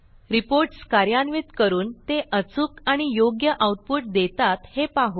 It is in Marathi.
रिपोर्ट्स कार्यान्वित करून ते अचूक आणि योग्य आऊटपुट देतात हे पाहू